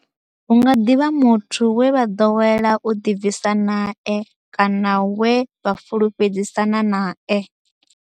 Hu nga ḓi vha muthu we vha ḓowela u ḓibvisa nae kana we vha fhulufhedzisana nae.